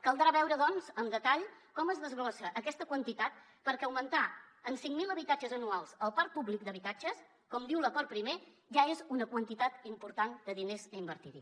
caldrà veure doncs amb detall com es desglossa aquesta quantitat perquè augmentar en cinc mil habitatges anuals el parc públic d’habitatges com diu l’acord primer ja és una quantitat important de diners a invertir hi